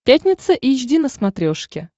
пятница эйч ди на смотрешке